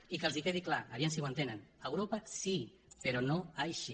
i que els quedi clar a veure si ho entenen europa sí però no així